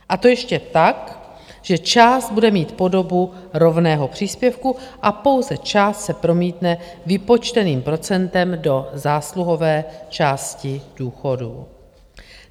A to ještě tak, že část bude mít podobu rovného příspěvku a pouze část se promítne vypočteným procentem do zásluhové části důchodů.